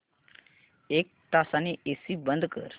एक तासाने एसी बंद कर